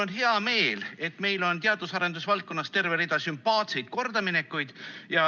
Mul on hea meel, et meil on teadus‑ ja arendusvaldkonnas terve rida sümpaatseid kordaminekuid.